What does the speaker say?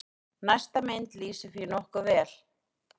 Næsta mynd lýsir því nokkuð vel.